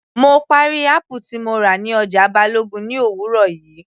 Mo parí apple tí mo rà ní ọjà Balogun ní òwúrọ̀ yìí